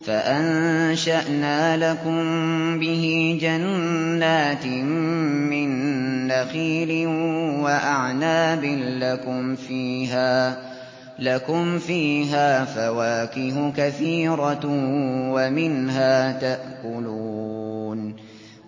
فَأَنشَأْنَا لَكُم بِهِ جَنَّاتٍ مِّن نَّخِيلٍ وَأَعْنَابٍ لَّكُمْ فِيهَا فَوَاكِهُ كَثِيرَةٌ وَمِنْهَا تَأْكُلُونَ